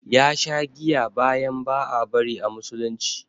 Ya sha giya bayan ba a bari a musulunci